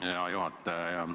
Hea juhataja!